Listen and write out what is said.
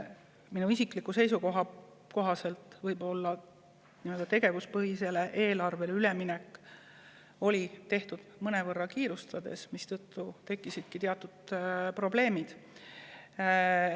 Minu isikliku seisukoha järgi on tegevuspõhisele eelarvele üleminek tehtud mõnevõrra kiirustades ja seetõttu tekkisidki teatud probleemid.